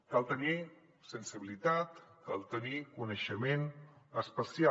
cal tenir sensibilitat cal tenir coneixement especial